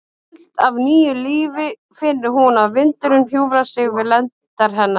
Full af nýju lífi finnur hún að vindurinn hjúfrar sig við lendar hennar.